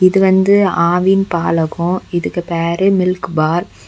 இது வந்து ஆவின் பாலகம் இதுக்கு பேரு மில்க் பார் .